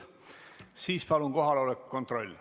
Siis palun kohaloleku kontroll.